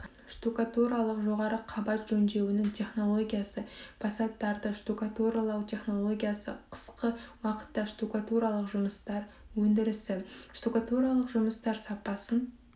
штукатуралық жоғары қабат жөндеуінің технологиясы фасадтарды штукатуралау технологиясы қысқы уақытта штукатуралық жұмыстар өндірісі штукатуралық жұмыстар сапасын